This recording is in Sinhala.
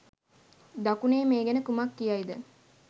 දකුණේ මේ ගැන කුමක් කියයිද?